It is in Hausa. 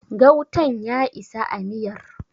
gautan ya isa a miyar?